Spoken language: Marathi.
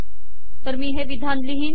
तर मी हे विधान लिहीन